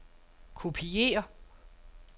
kopiér